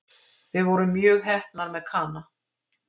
Við vorum mjög heppnar með Kana